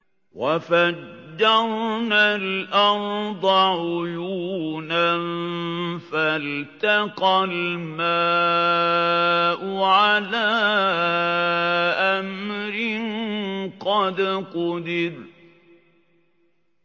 وَفَجَّرْنَا الْأَرْضَ عُيُونًا فَالْتَقَى الْمَاءُ عَلَىٰ أَمْرٍ قَدْ قُدِرَ